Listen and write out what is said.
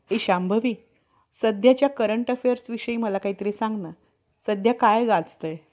एकत्र होऊन धास करण्याची संधी केली. याच वरून, यांनी ब्रम्ह देवाच्या निय~ नियत~ नियमास हरताळ~ हरताळ लावावी,